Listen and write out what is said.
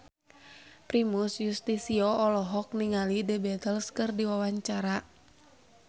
Primus Yustisio olohok ningali The Beatles keur diwawancara